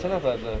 Neçə nəfərdir?